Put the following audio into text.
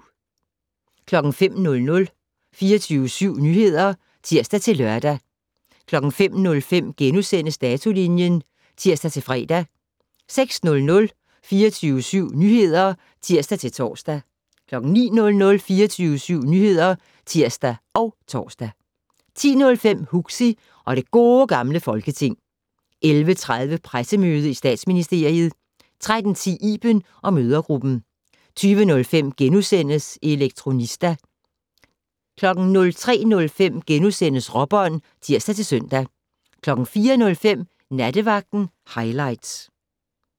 05:00: 24syv Nyheder (tir-lør) 05:05: Datolinjen *(tir-fre) 06:00: 24syv Nyheder (tir-tor) 09:00: 24syv Nyheder (tir og tor) 10:05: Huxi og det Gode Gamle Folketing 11:30: Pressemøde i Statsministeriet 13:10: Iben & mødregruppen 20:05: Elektronista * 03:05: Råbånd *(tir-søn) 04:05: Nattevagten highlights